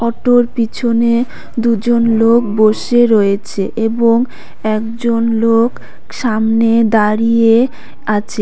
অটোর পিছনে দুজন লোক বসে রয়েছে এবং একজন লোক সামনে দাঁড়িয়ে আছে।